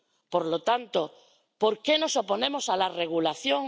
por lo tanto, ¿por qué nos oponemos a la regulación?